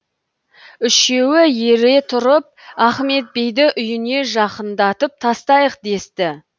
үшеуі ере тұрып ахмет бейді үйіне жақындап тастайық десті